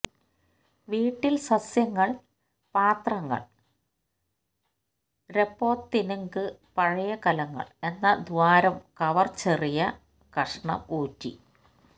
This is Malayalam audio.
വീട്ടിൽ സസ്യങ്ങൾ പാത്രങ്ങൾ രെപൊത്തിന്ഗ് പഴയ കലങ്ങളും എന്ന ദ്വാരം കവർ ചെറിയ കഷണം ഊറ്റി